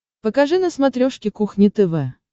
покажи на смотрешке кухня тв